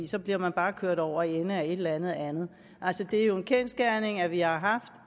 så bliver man bare kørt over ende af et eller andet andet det er jo en kendsgerning at vi har haft